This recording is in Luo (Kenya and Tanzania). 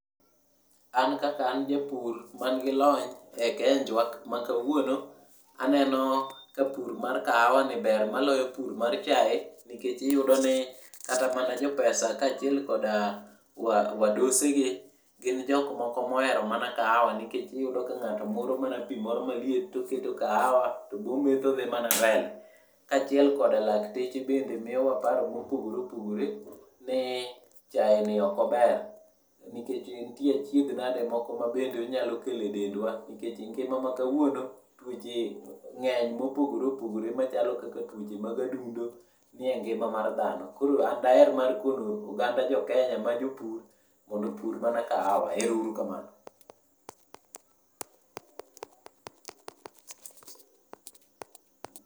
An kaka an japur mangi lony e kenjwa k makawuono, aneno ka pur mar kaawa ni ber maloyo pur mar chae, nikech iyudi ni kata mana jopesa kaachiel koda wa wadosegi, gin jokmoko moero mana kaawa, nikech iyudo ka ng'ato muro mana pii moro maliet to keto kaawa, to boometho odhi mana mbele. Kaachiel koda lakteche bende miowa paro mopogoreopogore ni, chae ni okober. Nikech ntie achiedh nade moko mabende onyalo kele dendwa, nikech ngima ma kawuono, tuoche ng'eny mopogoreopogore machalo kaka tuoche mag adundo, nie ngima mar dhano. Koro an daer mar kono oganda joKenya majopur mondo opur mana kaawa, erourukamano.